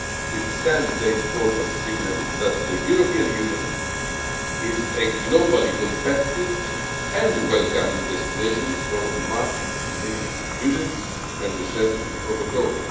It sends the important signal that the European Union is a globally competitive and welcoming destination for much-needed students and researchers from abroad.